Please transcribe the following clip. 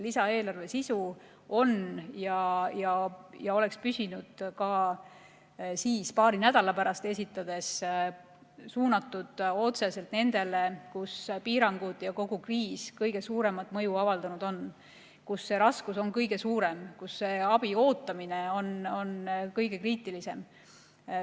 Lisaeelarve sisu oleks püsinud ka paari nädala pärast esitades, jäädes suunatuks otseselt nendele, kus piirangud ja kogu kriis kõige suuremat mõju on avaldanud, kus raskus on kõige suurem ja abi ootamine kõige kriitilisem.